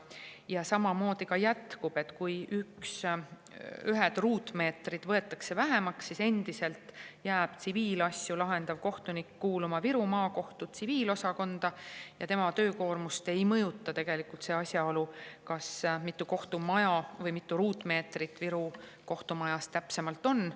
Ja samamoodi me jätkame: kui mingeid ruutmeetreid võetakse vähemaks, siis endiselt jääb tsiviilasju lahendav kohtunik kuuluma Viru Maakohtu tsiviilosakonda ja tema töökoormust ei mõjuta tegelikult see, mitu kohtumaja on või mitu ruutmeetrit Viru kohtu täpsemalt on.